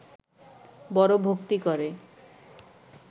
বড় ভক্তি করে